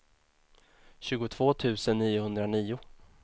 tjugotvå tusen niohundranio